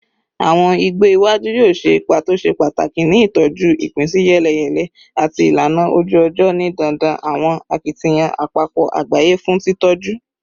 Awọn igbo iwaju yoo ṣe ipa to ṣe pataki ni itọju ipinsiyeleyele ati ilana oju-ọjọ, ni dandan awọn akitiyan apapọ agbaye fun titọju